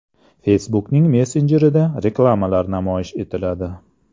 Facebook’ning messenjerida reklamalar namoyish etiladi.